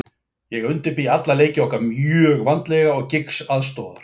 Ég undirbý alla leiki okkar mjög vandlega og Giggs aðstoðar.